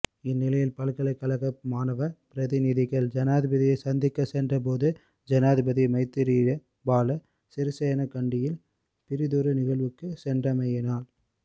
இந்நிலையில் பல்கலைக்கழக மாணவ பிரதிநிதிகள் ஜனாதிபதியை சந்திக்க சென்ற போதும் ஜனாதிபதி மைத்திரிபால சிறிசேன கண்டியில் பிறிதொரு நிகழ்வுக்கு சென்றமையினால்